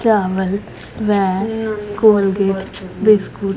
चावल व कोलगेट बिस्कुट --